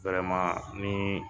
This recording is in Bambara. wɛrɛman nii